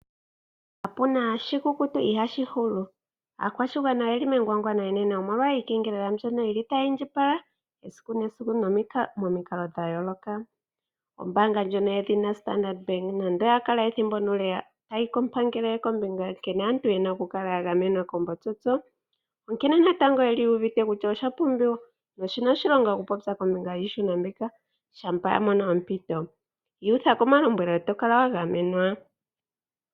Kapuna shikukutu ihaashi hulu. Aakwashigwana oyeli megwagwano enene omolwa iikengelela mbyono yili tayi indjipala esiku nesiku momikalo dhayoloka. Ombanga ndjono yedhina Standard Bank nande oya kala ethimbo nuule tayi komangele kombinga nkene aantu yena oku kala ya gamenwa koombotsotso, onkene natango yeli yu uvite kutya osha pumbiwa noshina oshilonga oku popya kombinga yiihuna mbika shampa ya mono ompito. Iyutha komalombwelo eto kala wa gamenwa.